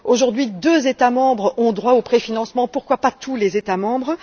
Aujourd'hui, deux États membres ont droit au préfinancement, pourquoi pas tous les États membres?